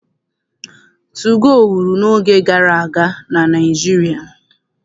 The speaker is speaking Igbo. Tugoo wuru n'oge gara aga na Naịjirịa.